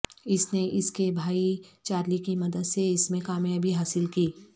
اس نے اس کے بھائی چارلی کی مدد سے اس میں کامیابی حاصل کی